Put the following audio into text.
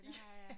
Det har jeg